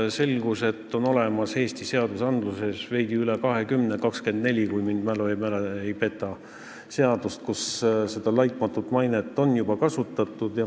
Selgus, et on olemas Eesti seadusandluses veidi üle 20 seaduse – 24, kui mu mälu mind ei peta –, kus on juba kasutatud sõnapaari "laitmatu maine".